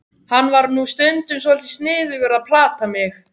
Hann var nú stundum svolítið sniðugur að plata mig.